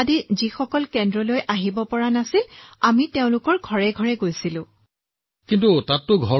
যিসকলে কেন্দ্ৰলৈ আহিব নোৱাৰিলে যেনে বৃদ্ধ লোক আৰু দিব্যাংগ লোক গৰ্ভৱতী মহিলা মহিলা ধাত্ৰী মহিলা এই লোকসকল ছাৰ